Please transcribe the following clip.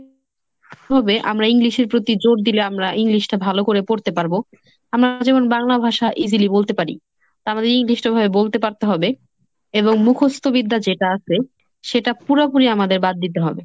তবে আমরা English এর প্রতি জোর দিলে আমরা English টা ভালো করে পড়তে পারবো। আমরা যেমন বাংলা ভাষা easily বলতে পার। আমাদের নির্দিষ্টভাবে বলতে পারতে হবে এবং মুখস্ত বিদ্যা যেটা আছে সেটা পুরোপুরি আমাদের বাদ দিতে হবে।